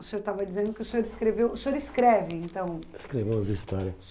o senhor estava dizendo que o senhor escreveu o senhor escreve, então... Escrevo umas histórias.